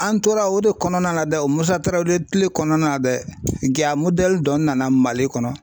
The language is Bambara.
An tora o de kɔnɔna na dɛ o Musa Tarawele kile kɔnɔna na dɛ ja dɔ nana Mali kɔnɔ.